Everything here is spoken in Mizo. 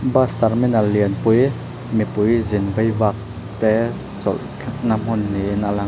bus terminal lian pui mipui zin vaivak te chawlhna hmun niin a lang a.